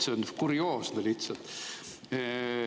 See on kurioosne lihtsalt.